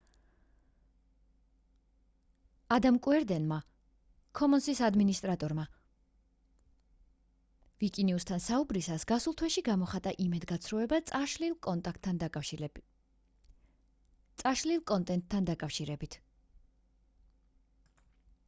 ადამ კუერდენმა commons-ის ადმინისტრატორმა ვიკინიუსთან საუბრისას გასულ თვეში გამოხატა იმედგაცრუება წაშლილ კონტენტთან დაკავშირებით